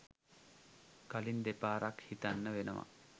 කලින් දෙපාරක් හිතන්න වෙනවා.